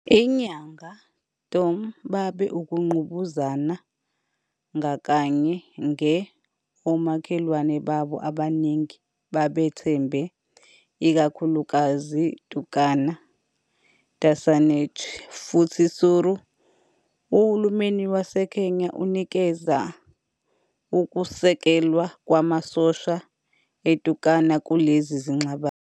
I Nyangatom babe ukungqubuzana ngakanye nge omakhelwane babo abaningi babethembe, ikakhulukazi Turkana, Dassanetch, futhi Suri. Uhulumeni waseKenya unikeza ukusekelwa kwamasosha eTurkana kulezi zingxabano.